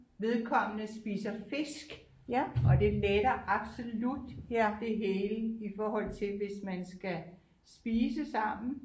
Vedkommende spiser fisk og det letter absolut det hele i forhold til hvis man skal spise sammen